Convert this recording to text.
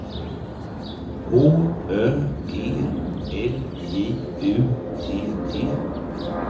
H Ö G L J U T T